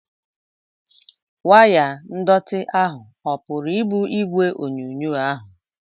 Waya ndọtị ahụ ọ puru ibu igwe onyonyo ahụ?